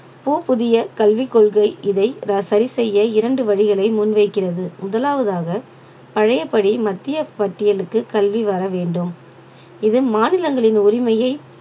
போ~ புதிய கல்விக் கொள்கை இதை சரி செய்ய இரண்டு வழிகளை முன்வைக்கிறது முதலாவதாக பழையபடி மத்திய பட்டியலுக்கு கல்வி வர வேண்டும் இது மாநிலங்களின் உரிமையை